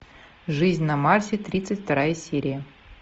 жизнь на марсе тридцать вторая серия